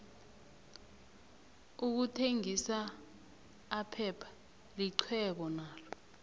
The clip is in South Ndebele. ukuthengisa aphepha lixhwebo nakho